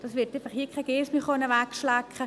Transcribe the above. Das kann keine Geiss wegschlecken.